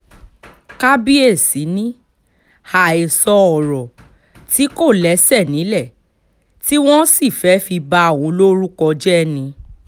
kábíyèsí ni àhesọ ọ̀rọ̀ tí kò lẹ́sẹ̀ nílẹ̀ tí wọ́n sì fẹ́ẹ́ fi ba òun lórúkọ jẹ́ ni